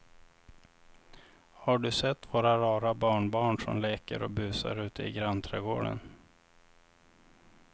Har du sett våra rara barnbarn som leker och busar ute i grannträdgården!